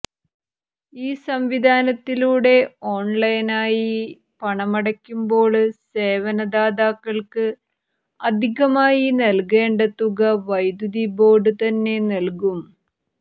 ഈ സംവിധാനത്തിലൂടെ ഓണ്ലൈനായി പണമടയ്ക്കുമ്പോള് സേവനദാതാക്കള്ക്ക് അധികമായി നല്കേണ്ട തുക വൈദ്യുതി ബോര്ഡ് തന്നെ നല്കും